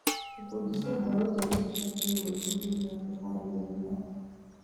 Ikundi cia mbeũ njĩthĩ cibatiĩ gwĩbundithia kwĩharĩrĩria.